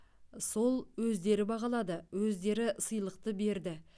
сол өздері бағалады өздері сыйлықты берді